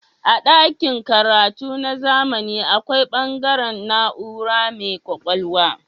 A dakin karatu na zamani akwai bangare na'ura mai kwakwalwa.